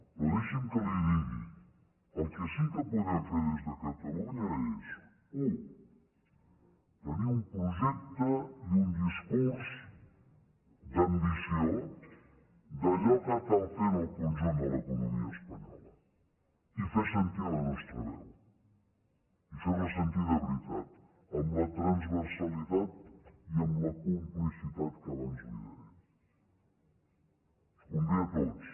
però deixi’m que li digui el que sí que podem fer des de catalunya és u tenir un projecte i un discurs d’ambició d’allò que cal fer en el conjunt de l’economia espanyola i fer sentir la nostra veu i fer la sentir de veritat amb la transversalitat i amb la complicitat que abans li deia ens convé a tots